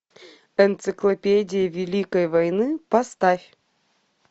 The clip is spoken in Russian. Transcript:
энциклопедия великой войны поставь